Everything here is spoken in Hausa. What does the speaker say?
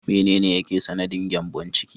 Menene yake sanadin gyambon ciki?